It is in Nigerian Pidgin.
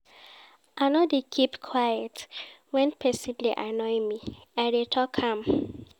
I no dey keep quiet wen pesin dey annoy me, I dey tok am.